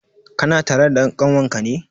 Kana tare da dan kanwar ka ne?